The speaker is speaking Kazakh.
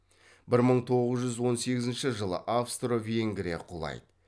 бір мың тоғыз жүз он сегізінші жылы австро венгрия құлайды